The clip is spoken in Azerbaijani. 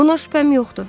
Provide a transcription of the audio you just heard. Buna şübhəm yoxdur.